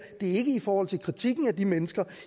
er ikke i forhold til kritikken af de mennesker